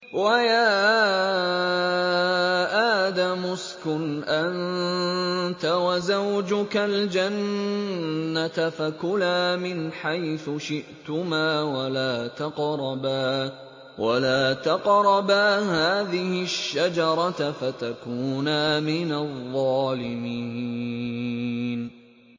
وَيَا آدَمُ اسْكُنْ أَنتَ وَزَوْجُكَ الْجَنَّةَ فَكُلَا مِنْ حَيْثُ شِئْتُمَا وَلَا تَقْرَبَا هَٰذِهِ الشَّجَرَةَ فَتَكُونَا مِنَ الظَّالِمِينَ